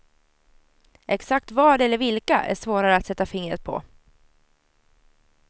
Exakt vad eller vilka är svårare att sätta fingret på.